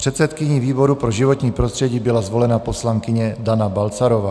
Předsedkyní výboru pro životní prostředí byla zvolena poslankyně Dana Balcarová.